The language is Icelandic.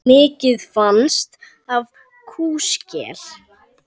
Mikið fannst af kúskel.